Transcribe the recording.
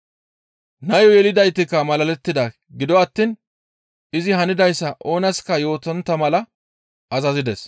Nayo yelidaytikka malalettida; gido attiin izi hanidayssa oonaska yootontta mala azazides.